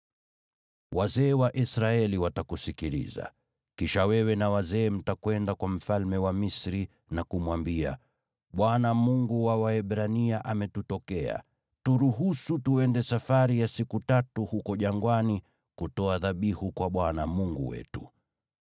“Wazee wa Israeli watakusikiliza. Kisha wewe na wazee mtakwenda kwa mfalme wa Misri na kumwambia, ‘ Bwana , Mungu wa Waebrania ametutokea. Turuhusu twende safari ya siku tatu huko jangwani kutoa dhabihu kwa Bwana Mungu wetu.’